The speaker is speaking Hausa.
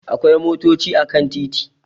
Akwai motochi a kan titi